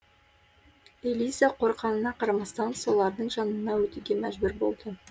элиза қорықанына қарамастан солардың жанынан өтуге мәжбүр болды